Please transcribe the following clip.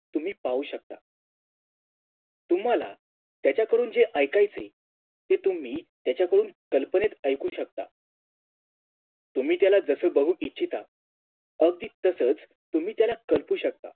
तुम्ही पाहू शकता तुम्हाला त्याच्याकडून जे ऐकायच आहे ते तुम्ही त्याच्याकडून कल्पनेत ऐकू शकता तुम्ही त्याला जसा बघू इच्छिता अगदी तसाच तुम्ही त्याला कल्पू शकता